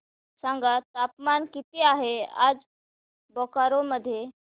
सांगा तापमान किती आहे आज बोकारो मध्ये